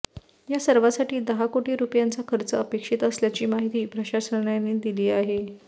या सर्वासाठी दहा कोटी रुपयांचा खर्च अपेक्षित असल्याची माहिती प्रशासनाने दिली आहे